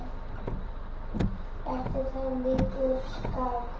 Bætti það lítt úr skák.